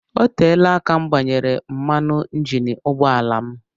Oteela aka m gbanwere mmanụ injin ụgbọ ala m